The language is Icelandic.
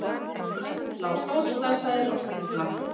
Örn lá stórslasaður á spítala.